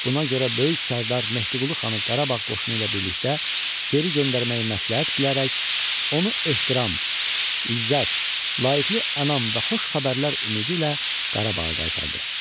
Buna görə böyük sərdar Mehdiqulu xanı Qarabağ qoşunu ilə birlikdə geri göndərməyi məsləhət bilərək, onu ehtiram, izzət, layiqəli ənam və xoş xəbərlər ümidi ilə Qarabağa qaytardı.